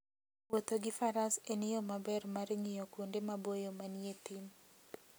Wuotho gi faras en yo maber mar ng'iyo kuonde maboyo manie thim.